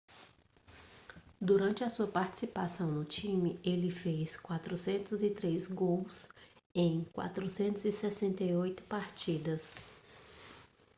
durante a sua participação no time ele fez 403 gols em 468 partidas